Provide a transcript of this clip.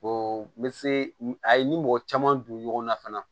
O n bɛ se a ye n ni mɔgɔ caman don ɲɔgɔn na fana